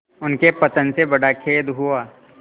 उनके पतन से बड़ा खेद हुआ